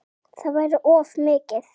Það væri of mikið.